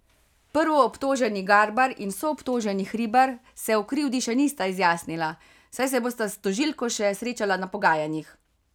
Prvoobtoženi Garbar in soobtoženi Hribar se o krivdi še nista izjasnila, saj se bosta s tožilko še srečala na pogajanjih.